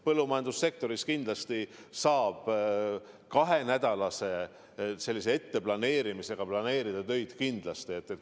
Põllumajandussektoris saab kindlasti kahe nädala kaupa töid planeerida.